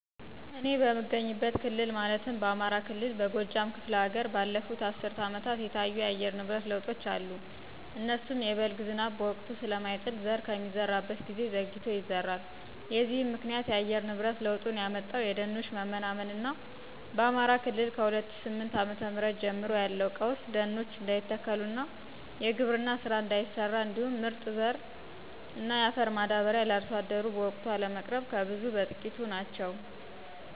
እኔ በምገኝበት ክልል ማለትም በአማራ ክልል በጎጃም ክፍለ ሀገር ባለፉት አስርት አመታት የታዩ የአየር ንብረት ለውጦች አሉ እነሱም:- የበልግ ዝናብ በወቅቱ ስለማይጥል ዘር ከሚዘራበት ጊዜ ዘግይቶ ይዘራል። የዚህም ምክንያት :- የአየር ንብረት ለውጡን ያመጣው የደኖች መመናመን እና በአማራ ክልል ከ2008ዓ.ም ጀምሮ ያለው ቀውስ ደኖች እንዳይተከሉ, የግብርና ስራ እንዳይሰራ, እንዲሁም ምርጥ ዘር እና የአፈር ማዳበሪያ ለአርሶ አደሩ በወቅቱ አለመቅረብ ከብዙ በትቂቶቹ ናቸው።